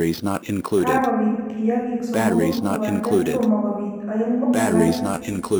Kagobiit kiyagiik somoku kobate tomo kobiit aeng'u alake.